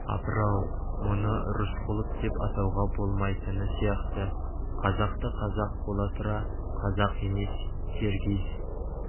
апыр-ау мұны рысқұлов деп атауға болмайтыны сияқты қазақты қазақ бола тұра қазақ емес киргиз